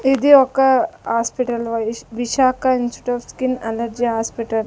ఇది ఒక hospital Visakha institute skin allergy hospital .